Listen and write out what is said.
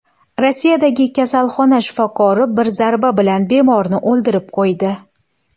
Rossiyadagi kasalxona shifokori bir zarba bilan bemorni o‘ldirib qo‘ydi .